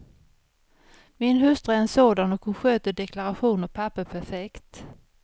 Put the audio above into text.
Min hustru är en sådan och hon sköter deklaration och papper perfekt.